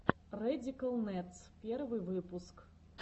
рэдикал нэдс первый выпуск